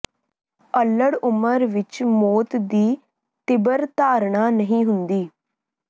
ਅੱਲ੍ਹੜ ਉਮਰ ਵਿੱਚ ਮੌਤ ਦੀ ਤੀਬਰ ਧਾਰਣਾ ਨਹੀਂ ਹੁੰਦੀ